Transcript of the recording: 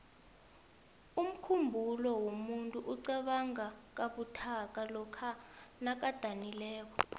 umkhumbulo womuntu iqabanga kabuthaka lokha nakadakiweko